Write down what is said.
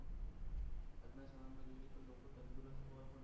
આજના સમયમાં જોઈએ તો લોકો તંદુરસ્ત